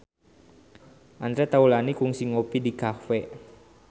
Andre Taulany kungsi ngopi di cafe